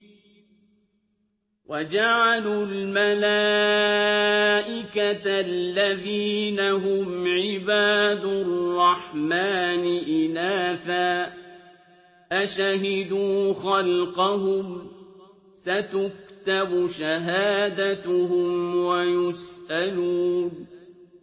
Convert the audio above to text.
وَجَعَلُوا الْمَلَائِكَةَ الَّذِينَ هُمْ عِبَادُ الرَّحْمَٰنِ إِنَاثًا ۚ أَشَهِدُوا خَلْقَهُمْ ۚ سَتُكْتَبُ شَهَادَتُهُمْ وَيُسْأَلُونَ